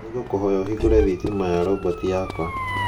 Nĩngũkũhoya ũhingũre thitima ya roboti yakwa.